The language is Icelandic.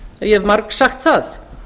ég hef margsagt það